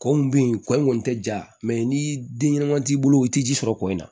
Kɔn be yen kɔ in kɔni te ja mɛ ni den ɲɛnɛman t'i bolo i ti ji sɔrɔ kɔ in na